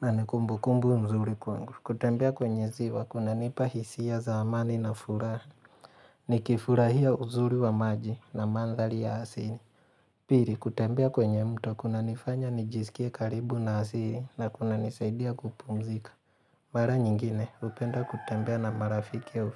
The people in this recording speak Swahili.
na ni kumbukumbu mzuri kwangu. Kutembea kwenye ziwa kuna nipa hisia za amani na furaha. Ni kifurahia uzuri wa maji na mandhari ya asili. Pili kutembea kwenye mto kuna nifanya nijisikie karibu na asili na kuna nisaidia kupumzika. Mara nyingine hupenda kutembia na marafiki wa ufiri.